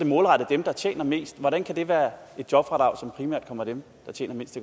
målrettet dem der tjener mest hvordan kan det være et jobfradrag som primært kommer dem der tjener mindst